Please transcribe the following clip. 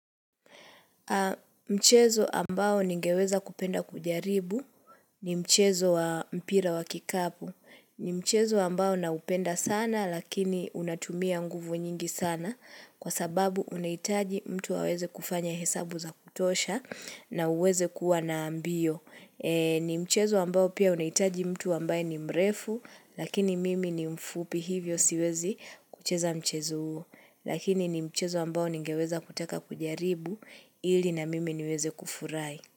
Mchezo ambao ningeweza kupenda kujaribu ni mchezo wa mpira wa kikapu. Ni mchezo ambao nahupenda sana lakini unatumia nguvu nyingi sana kwa sababu unahitaji mtu aweze kufanya hesabu za kutosha na uweze kuwa na mbio. Ni mchezo ambao pia unahitaji mtu ambaye ni mrefu lakini mimi ni mfupi hivyo siwezi kucheza mchezo huo. Lakini ni mchezo ambao ningeweza kutaka kujaribu ili na mimi niweze kufurahi.